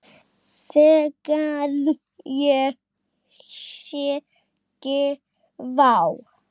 Þegar ég segi: Vá!